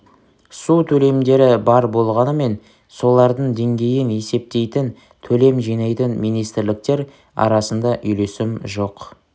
су төлемдері бар болғанымен солардың деңгейін есептейтін төлем жинайтын министрліктер арасында үйлесім жоқ